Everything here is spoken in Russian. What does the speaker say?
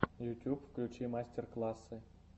ютюб включи мастер классы